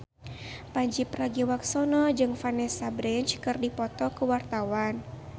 Pandji Pragiwaksono jeung Vanessa Branch keur dipoto ku wartawan